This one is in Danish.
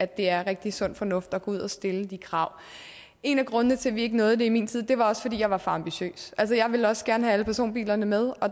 det er rigtig sund fornuft at gå ud og stille de krav en af grundene til at vi ikke nåede det i min tid var også at jeg var for ambitiøs altså jeg ville også gerne have alle personbilerne med og